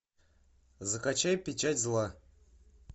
закачай печать зла